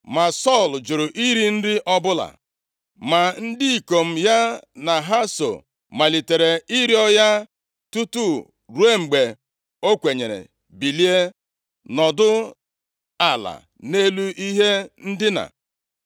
Ma Sọl jụrụ iri nri ọbụla. Ma ndị ikom ya na ha so malitere ịrịọ ya tutu ruo mgbe o kwenyere bilie, nọdụ ala nʼelu ihe ndina.